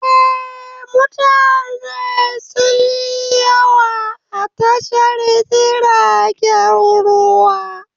Eh, mutane sunyi yawa a tashar jiragen ruwa